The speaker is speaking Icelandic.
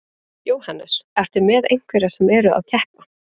Jóhannes: Ertu með einhverja sem eru að keppa?